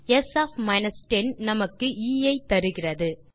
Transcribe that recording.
ஸ் ஒஃப் 10 நமக்கு எ ஐ தருகிறது